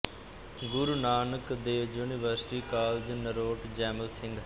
Guru Nanak Dev University College Narot Jaimal Singh